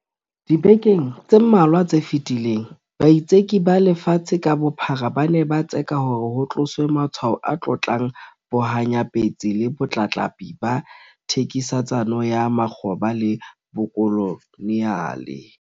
Dibekeng tse mmalwa tse fetileng, baitseki ba lefatshe ka bophara ba ne ba tseka hore ho tloswe matshwao a tlotlang bohanyapetsi le botlatlapi ba thekisetsano ya makgoba le bokoloniale.